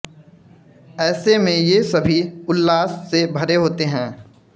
ऐसे में ये सभी उल्लास से भरे होते हैं